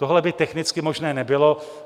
Tohle by technicky možné nebylo.